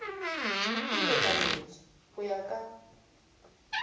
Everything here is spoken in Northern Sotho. e lekanetše go ya ka